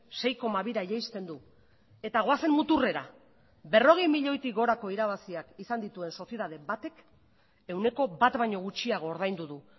sei koma bira jaisten du eta goazen muturrera berrogei milioitik gorako irabaziak izan dituen sozietate batek ehuneko bat baino gutxiago ordaindu du